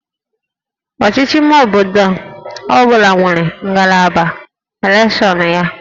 Ọchịchị ime obodo ọ bụla nwere ngalaba elekshọnụ ya